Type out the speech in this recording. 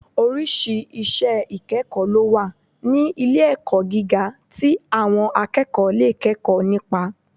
Oríṣìí iṣẹ́ ìkẹ́kọ̀ọ́ lówà ní ilé-ẹ̀kọ́ gíga tí àwọn akẹ́kọ̀ọ́ lè kẹ́kọ̀ọ́ nípa